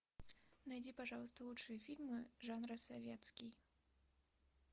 найди пожалуйста лучшие фильмы жанра советский